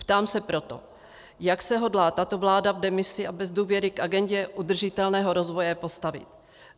Ptám se proto, jak se hodlá tato vláda v demisi a bez důvěry k agendě udržitelného rozvoje postavit.